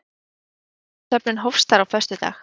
Undirskriftasöfnun hófst þar á föstudag